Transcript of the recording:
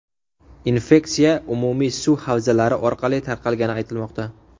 Infeksiya umumiy suv havzalari orqali tarqalgani aytilmoqda.